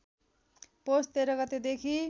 पौष १३ गतेदेखि